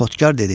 Xodkar dedi: